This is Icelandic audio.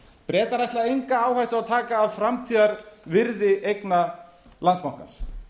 bretar ætla enga áhættu að taka af framtíðarvirði eigna landsbankans